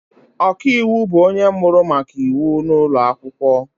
Ọkaiwu bụ onye mụrụ maka iwu n’ụlọ akwụkwọ